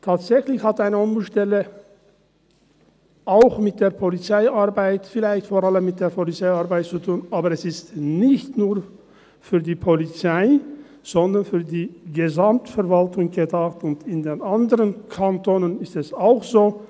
– Tatsächlich hat eine Ombudsstelle auch mit der Polizeiarbeit, vielleicht vor allem mit der Polizeiarbeit, zu tun, aber sie ist nicht nur für die Polizei, sondern für die Gesamtverwaltung gedacht, und in den anderen Kantonen ist es auch so.